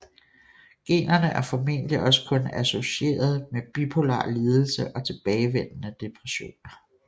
Generne er formodentlig også kun associerede med bipolar lidelse og tilbagevendende depressioner